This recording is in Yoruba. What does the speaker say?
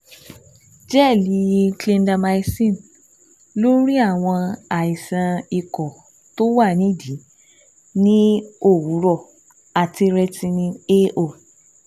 Gẹ́ẹ̀lì Clindamycin lórí àwọn àìsàn ikọ̀ tó wà nídìí ní òwúrọ̀ àti Retin- A 0